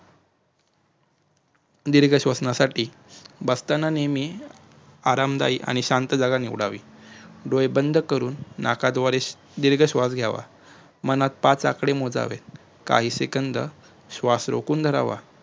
दीर्घ श्वसनासाठी बसताना नेहमी आरामदायिक आणि शांत जागा निवडावी डोळे बंद करून नाकाद्वारे दीर्घ श्वास घ्यावा मनामध्ये पाच आकडे मोजावे काही सेकंद श्वास रोखुन धरावा